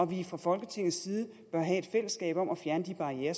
vi fra folketingets side bør have et fællesskab om at fjerne de barrierer